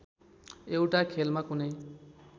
एउटा खेलमा कुनै